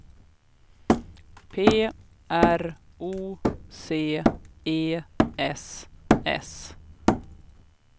P R O C E S S